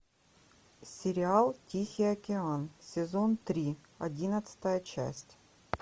сериал тихий океан сезон три одиннадцатая часть